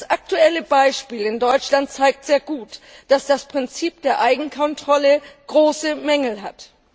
Das aktuelle Beispiel in Deutschland zeigt sehr gut, dass das Prinzip der Eigenkontrolle große Mängel hat.